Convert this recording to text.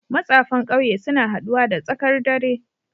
matsafan kauye suna haduwa da tsakar dare